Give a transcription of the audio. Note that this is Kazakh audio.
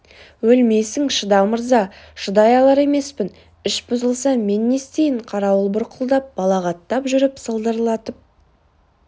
өлмейсің шыда мырза шыдай алар емеспін іш бұзылса мен не істейін қарауыл бұрқылдап балағаттап жүріп салдырлатып